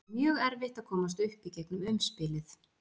Það er mjög erfitt að komast upp í gegnum umspilið.